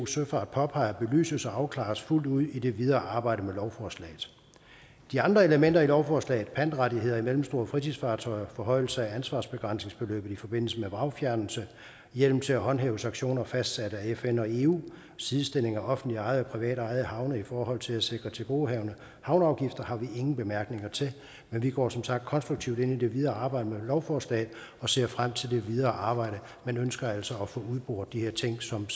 søfart påpeger belyses og afklares fuldt ud i det videre arbejde med lovforslaget de andre elementer i lovforslaget pantrettigheder i mellemstore fritidsfartøjer forhøjelse af ansvarsbegrænsningsbeløbet i forbindelse med vragfjernelse hjemmel til at håndhæve sanktioner fastsat af fn og eu sidestilling af offentligt ejede og privat ejede havne i forhold til at sikre tilgodehavende havneafgifter har vi ingen bemærkninger til vi går som sagt konstruktivt ind i det videre arbejde med lovforslaget og ser frem til det videre arbejde men ønsker altså at få udboret de her ting som